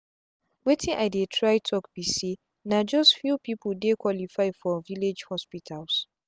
wetin i dey try talk be say na just few people dey qualify for village hospitals